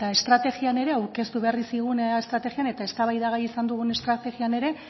estrategian ere aurkeztu berri zigun estrategian eta eztabaidagai izan dugun estrategian ere